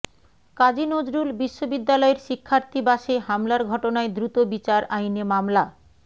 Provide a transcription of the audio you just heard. কাজী নজরুল বিশ্ববিদ্যালয়ের শিক্ষার্থী বাসে হামলার ঘটনায় দ্রুত বিচার আইনে মামলা